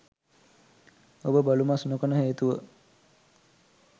ඔබ බලු මස් නොකන හේතුව